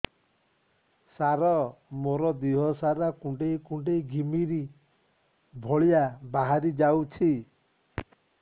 ସାର ମୋର ଦିହ ସାରା କୁଣ୍ଡେଇ କୁଣ୍ଡେଇ ଘିମିରି ଭଳିଆ ବାହାରି ଯାଉଛି